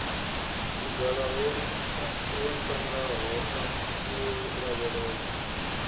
vhugala wo ntangaho u lavhelesa